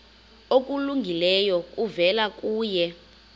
okulungileyo kuvela kuye